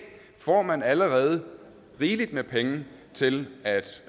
får man allerede rigeligt med penge til at